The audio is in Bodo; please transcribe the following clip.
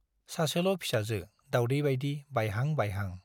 सासेल' फिसाजो - दाउदै बाइदि बायहां बायहां।